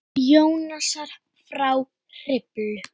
Jónasar frá Hriflu.